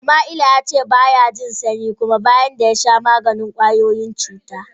Sama'ila ya ce ba ya jin sanyi kuma, bayan da ya sha maganin kashe kwayoyin cuta.